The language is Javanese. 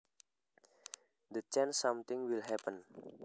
The chance something will happen